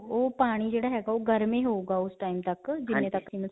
ਉਹ ਪਾਣੀ ਜਿਹੜਾ ਹੈਗਾ, ਉਹ ਗਰਮ ਹੀ ਹੋਉਗਾ ਉਸ time ਤੱਕ ਜਿੰਨੇ ਤੱਕ ਕਿ.